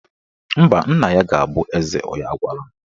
Mba, nna ya ga-abụ eze onye agwala m